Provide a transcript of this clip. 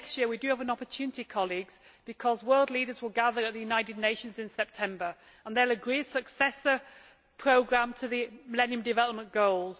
Next year we have an opportunity, because world leaders will gather at the United Nations in September and they will agree a successor programme to the Millennium Development Goals.